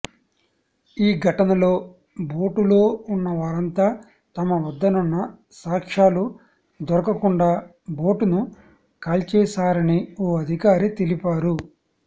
ఈ ఘటనలో బోటులో ఉన్నవారంతా తమ వద్దనున్న సాక్ష్యాలు దొరకకుండా బోటును కాల్చేశారని ఓ అధికారి తెలిపారు